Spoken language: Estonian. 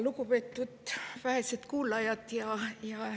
Lugupeetud vähesed kuulajad!